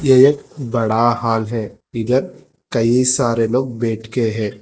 एक बड़ा हॉल है इधर कई सारे लोग बैठ के है।